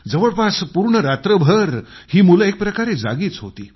जवळपास पूर्ण रात्रभर ही मुलं एकप्रकारे जागीच होती